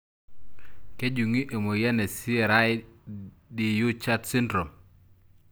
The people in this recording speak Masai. Kejungi emoyian e cri du chat syndrome?